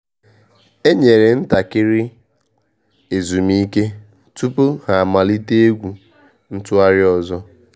E nyere ntakịrị /obere ezumike tupu ha amalite egwu ntụgharị ọzọ